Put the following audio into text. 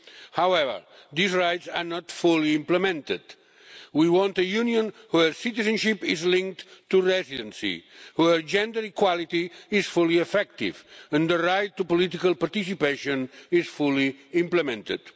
However, these rights are not fully implemented. We want a Union where citizenship is linked to residency, where gender equality is fully effective and where the right to political participation is fully implemented.